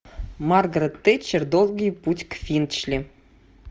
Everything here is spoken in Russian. маргарет тэтчер долгий путь к финчли